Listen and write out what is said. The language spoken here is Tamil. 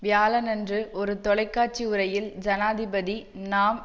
வியாழனன்று ஒரு தொலைக்காட்சி உரையில் ஜனாதிபதி நாம்